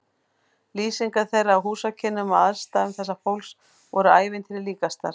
Lýsingar þeirra á húsakynnum og aðstæðum þessa fólks voru ævintýri líkastar.